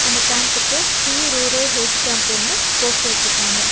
அந்த கேம்புக்கு free rural health கேம்ப்புன்னு போஸ்டர் வெச்சிருக்காங்க.